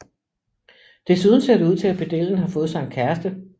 Desuden ser det ud til at pedellen har fået sig en kæreste